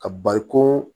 Ka bariko